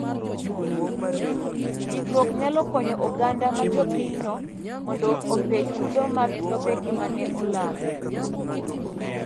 Ndikruok nyalo konyo oganda ma jopinyno mondo ope chudo mag lopegi ma ne olal.